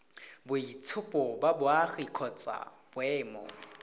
boitshupo ba boagi kgotsa boemo